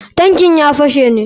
Tankin ya fashe ne.